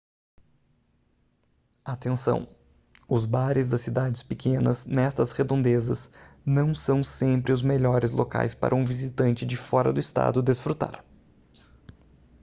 atenção os bares das cidades pequenas nestas redondezas não são sempre os melhores locais para um visitante de fora do estado desfrutar